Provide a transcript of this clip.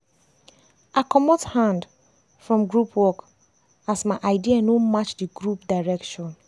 i comot hand from group work as my idea no match di group direction.